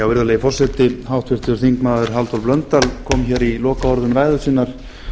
virðulegi forseti háttvirtur þingmaður halldór blöndal kom hér í lokaorðum ræðu sinnar